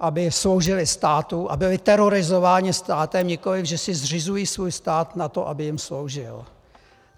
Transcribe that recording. aby sloužili státu a byli terorizováni státem, nikoliv že si zřizují svůj stát na to, aby jim sloužil.